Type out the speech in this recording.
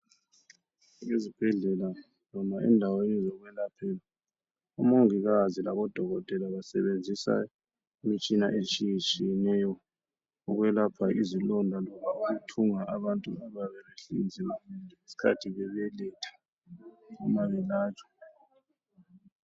Ezibhedlela noma endaweni zokwelaphela umongikazi labodokotela basebenzisa imitshina etshiyetshiyeneyo ukwelapha izilonda loba ukuthunga abantu abayabebehlinziwe ngesikhathi bebeletha noma belatshwa.